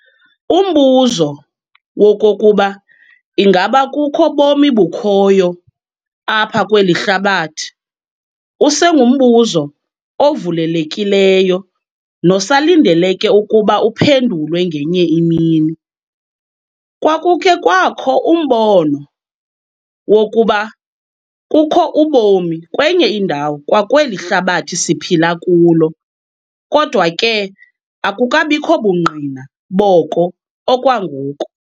Umbuzo wokokuba ingaba kukho bomi bukhoyo apha kweli hlabathi, usengumbuzo ovulelekileyo nosalindeleke ukuba uphendulwe ngenye imini. Kwakukhe kwakho umbono wokuba kukho ubomi kwenye indawo kwakweli hlabathi siphila kulo. Kodwa ke akukabikho bungqina boko okwangoku.